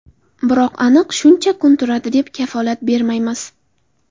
Biroq aniq shuncha kun turadi, deb kafolat bermaymiz.